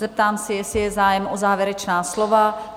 Zeptám se, jestli je zájem o závěrečná slova.